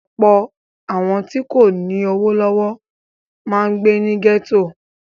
Ọ̀pọ̀ àwọn tí kò lówó lọ́wọ́ máa ń gbé ní gẹ́tò.